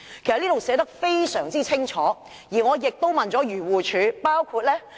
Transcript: "該條文已經寫得非常清楚，而我亦曾向漁護署查詢。